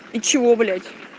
и чего блять